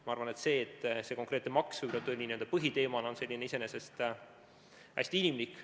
Ma arvan, et see, et see konkreetne maks võib-olla tuli n-ö põhiteemana esile, on iseenesest hästi inimlik.